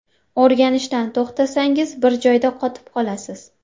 O‘rganishdan to‘xtasangiz, bir joyda qotib qolasiz.